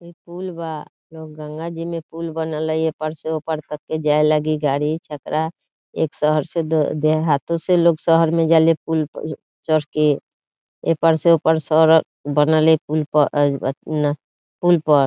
इ पूल बा जउन गंगा जी में पूल बनल हाई इ पार से उपार करके जाए लगी गाड़ी छकड़ा | एक शहर से दो देहातो से लोग शहर में जाले पूल पर चढ़ के एह पार से ओहपार सड़क बनल है पूल प पोल पर |